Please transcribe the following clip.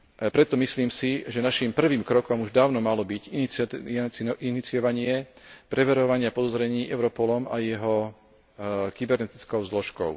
Preto, si myslím, že našim prvým krokom už dávno malo byť iniciovanie preverovania podozrení Europolom a jeho kybernetickou zložkou.